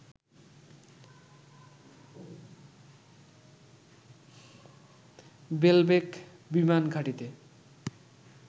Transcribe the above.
বেলবেক বিমান ঘাঁটিতে